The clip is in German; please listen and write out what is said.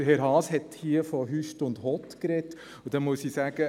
Auch Herr Haas hat hier von einem Hott und Hüst gesprochen, und dann muss ich sagen: